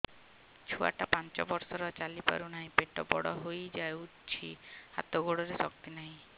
ଛୁଆଟା ପାଞ୍ଚ ବର୍ଷର ଚାଲି ପାରୁନାହଁ ପେଟ ବଡ ହୋଇ ଯାଉଛି ହାତ ଗୋଡ଼ର ଶକ୍ତି ନାହିଁ